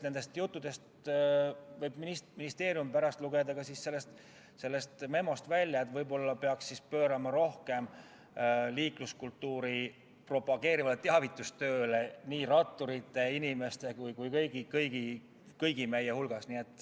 Nendest juttudest võib ministeerium pärast välja lugeda, et võib-olla peaks rohkem tähelepanu pöörama liikluskultuuri propageerivale teavitustööle nii ratturite, jala käivate inimeste kui ka kõigi teiste hulgas.